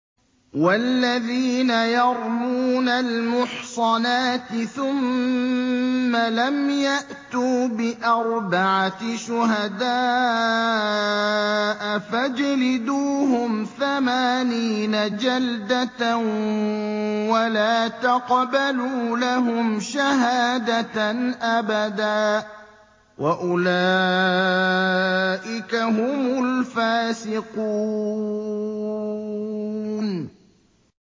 وَالَّذِينَ يَرْمُونَ الْمُحْصَنَاتِ ثُمَّ لَمْ يَأْتُوا بِأَرْبَعَةِ شُهَدَاءَ فَاجْلِدُوهُمْ ثَمَانِينَ جَلْدَةً وَلَا تَقْبَلُوا لَهُمْ شَهَادَةً أَبَدًا ۚ وَأُولَٰئِكَ هُمُ الْفَاسِقُونَ